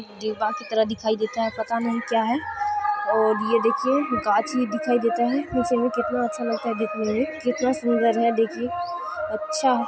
डिब्बा की तरह दिखाई देता है पता नहीं क्या है और ये देखिये गाछी भी दिखाई देते हैं कितने अच्छे लगते हैं दिखने में कितना सुन्दर है देखिये अच्छा है